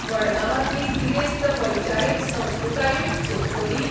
मडगांवांतली गिरेस्त वैचारीक संस्कृतायूय सोपतली?